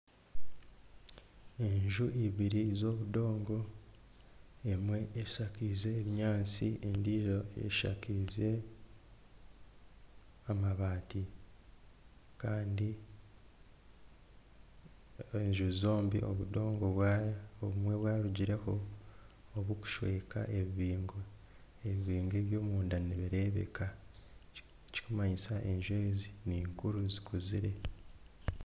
Enju ibiri z'obudongo emwe eshakize ebinyatsi endiijo eshakaize amabaati Kandi enju zombi obudongo bwarugireho okushweka ebibingo ebibingo ebyomunda nibireebeka ekirikumanyisa enju ezi ninkuru zikuzire